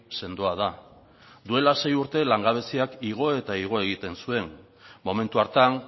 sendoa da duela sei urte langabeziak igo eta igo egiten zuen momentu hartan